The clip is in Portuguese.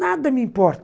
Nada me importa.